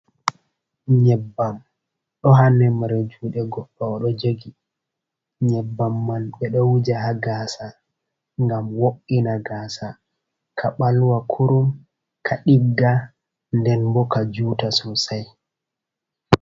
Nyebbam ɗo haa neɓre juuɗe goɗɗo ,o ɗo jogi nyebbam man. Ɓe ɗo wuja haa gaasa, ngam wo'’ina gaasa ka ɓalwa kurum, ka ɗigga, nden bo ka juuta sosay.